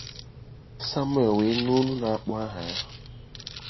Samuel we nu olu nākpọ aha-ya.